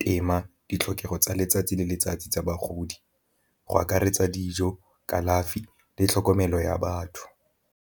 tema ditlhokego tsa letsatsi le letsatsi tsa bagodi go akaretsa dijo, kalafi le tlhokomelo ya batho.